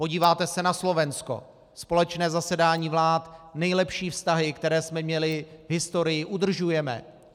Podíváte se na Slovensko - společné zasedání vlád, nejlepší vztahy, které jsme měli v historii, udržujeme.